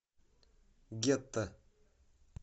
гетто